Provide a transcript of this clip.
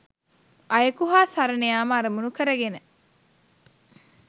අයෙකු හා සරණයාම අරමුණු කරගෙන